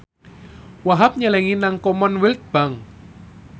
Wahhab nyelengi nang Commonwealth Bank